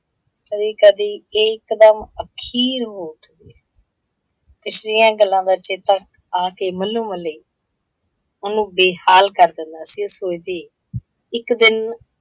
ਕਦੀ ਕਦੀ ਇਹ ਇੱਕ ਦਮ ਅਖੀਰ ਨੂੰ ਪਿਛਲੀਆਂ ਗੱਲਾਂ ਦਾ ਚੇਤਾ ਆਕੇ ਮੱਲੋਂ ਮੱਲੀ, ਉਹਨੂੰ ਬੇਹਾਲ ਕਰ ਦਿੰਦਾ ਸੀ। ਇਹ ਸੋਚਦੇ ਇਕ ਦਿਨ